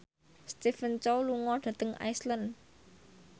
Stephen Chow lunga dhateng Iceland